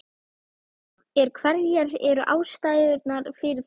Er, hverjar eru ástæðurnar fyrir því?